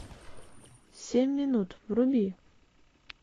семь минут вруби